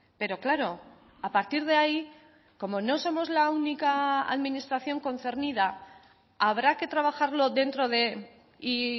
pero claro a partir de ahí como no somos la única administración concernida habrá que trabajarlo dentro de y